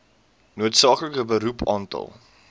noodsaaklike beroep aantal